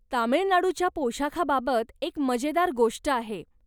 तामिळनाडूच्या पोषाखाबाबत एक मजेदार गोष्ट आहे.